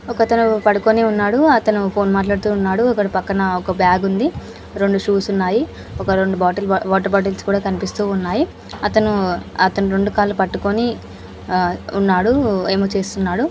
ఒకతను పడుకుని ఉన్నాడు. అతను ఫోన్ మాట్లాడుతూ ఉన్నాడు. అక్కడ పక్కన ఒక బ్యాగ్ ఉంది. రెండు షూస్ ఉన్నాయి. ఒక రెండు బాటిల్ వాటర్ బాటిల్స్ కూడా కనిపిస్తూ ఉన్నాయి. అతను రెండు అతను రెండు కాళ్ళు పట్టుకొని ఉన్నాడు. ఏవో చేస్తున్నాడు.